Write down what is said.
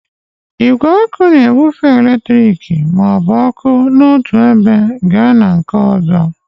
Igwe ọkụ na-ebufe eletriki ma ọ bụ oku n'otu ebe gaa na nke ọzọ.